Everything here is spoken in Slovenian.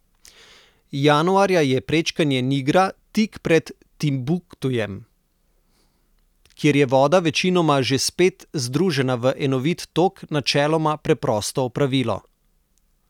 Januarja je prečkanje Nigra tik pred Timbuktujem, kjer je voda večinoma že spet združena v enovit tok, načeloma preprosto opravilo.